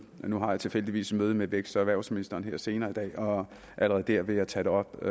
nu har jeg tilfældigvis et møde med vækst og erhvervsministeren her senere i dag og allerede der vil jeg tage det op